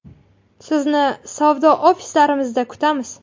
Sizni savdo ofislarimizda kutamiz.